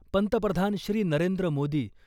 पंतप्रधान श्री .नरेंद्र मोदी ,